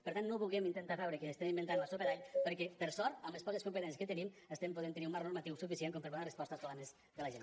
per tant no vulguem intentar fer veure que estem inventant la sopa d’all perquè per sort amb les poques competències que tenim podem tenir un marc normatiu suficient com per poder donar resposta als problemes de la gent